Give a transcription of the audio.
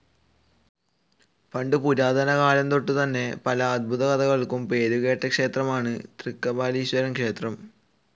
പണ്ടു പുരാതന കാലംതൊട്ടുതന്നെ പല അത്ഭുത കഥകൾക്കും പേരുകേട്ട ക്ഷേത്രമാണ് തൃക്കപാലീശ്വരം ക്ഷേത്രം.